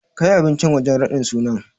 Kai abincin wajen raɗin sunan.